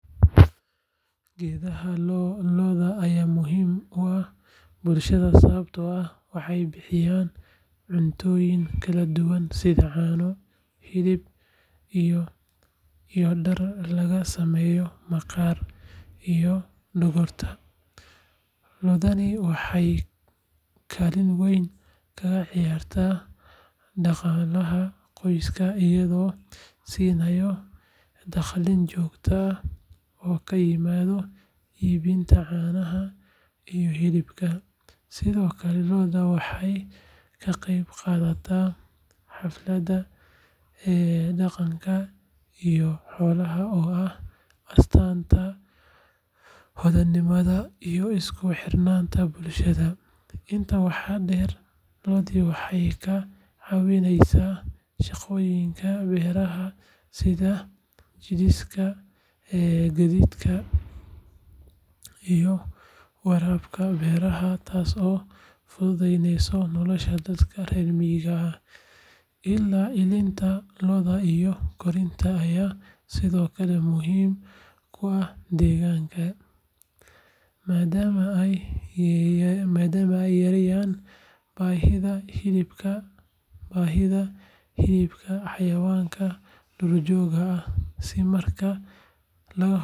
Gedaha looda ayaa muhiim u ah bulshada, waxeey bixiyaan caano iyo hilib, waxeey kaalin weyn kaciyaraa daqalaha qoyska, sido kale waxeey ka qeyb qaadato xaflada daqanka, inta waxaa deer waxeey kaa cawineysa sida gadiidka iyo warabka beraha, ilaa iyo inta korinta ayaa sido kale muhiim ah, madama aay yareen bahida hilibka duur jooga ah.